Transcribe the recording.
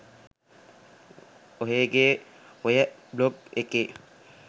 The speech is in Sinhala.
ඔහේ ගේ ඔය බ්ලොග් එකේ